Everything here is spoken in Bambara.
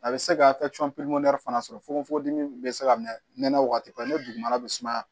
A bɛ se ka fana sɔrɔ fokon fokon dimi bɛ se ka mɛn nɛnɛ waati bɛɛ n'o dugumana bɛ sumaya